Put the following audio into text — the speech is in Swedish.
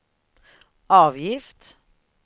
avgift